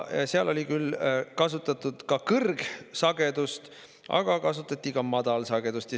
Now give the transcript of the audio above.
Seal kasutati küll üldiselt kõrgsagedust, aga kasutati ka madalsagedust.